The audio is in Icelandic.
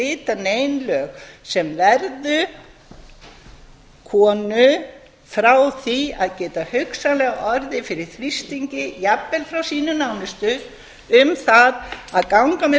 setja nein lög sem eru konu frá því að geta hugsanlega orðið fyrir þrýstingi jafnvel frá sínum nánustu um það að ganga með